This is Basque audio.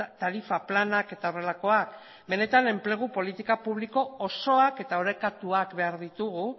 tarifa planak eta horrelakoak benetan enplegu politika publiko osoak eta orekatuak behar ditugu